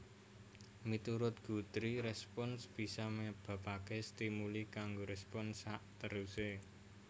Miturut Guthrie respons bisa nyebabaké stimuli kanggo respons sakterusé